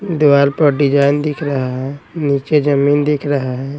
दीवाल पर डिजाइन दिख रहा हैं नीचे जमीन दिख रहा हैं।